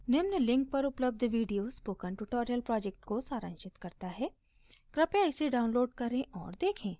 निम्न link पर उपलब्ध video spoken tutorial project को सारांशित करता है कृपया इसे download करें और देखें